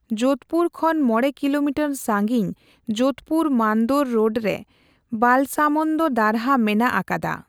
ᱡᱳᱫᱷᱯᱩᱨ ᱠᱷᱚᱱ ᱢᱚᱲᱮ ᱠᱤᱞᱳᱢᱤᱴᱟᱨ ᱥᱟᱺᱜᱤᱧ ᱡᱳᱫᱷᱯᱩᱨ ᱼ ᱢᱟᱱᱫᱳᱨ ᱨᱳᱰ ᱨᱮ ᱵᱟᱞᱥᱟᱢᱚᱱᱫᱽ ᱫᱟᱨᱦᱟ ᱢᱮᱱᱟᱜ ᱟᱠᱟᱫᱟ ᱾